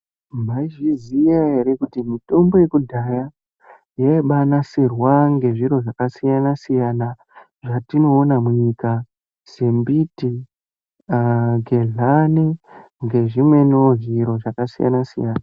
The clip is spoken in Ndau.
Mai zviziya ere kuti mutombo yeku dhaya yaibai nasirwa nge zviro zvaka siyana siyana zvati noona munyika se mbiti nge ndani nge zvi mweniwo zviro zvaka siyana siyana.